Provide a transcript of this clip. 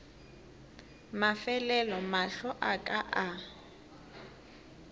mafelelo mahlo a ka a